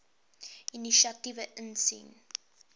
inisiatiewe insien